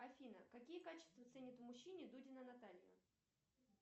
афина какие качества ценит в мужчине дудина наталья